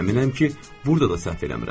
Əminəm ki, burda da səhv eləmirəm.